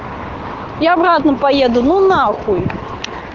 я обратно поеду ну нахуй